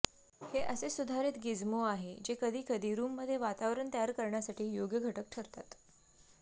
हे असे सुधारित गिझ्मो आहेत जे कधीकधी रूममध्ये वातावरण तयार करण्यासाठी योग्य घटक ठरतात